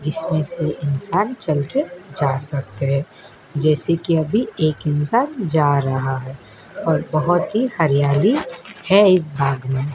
जिसमें से इंसान चल के जा सकते है जैसे कि अभी एक इंसान जा रहा है और बहुत ही हरियाली है इस बाग में।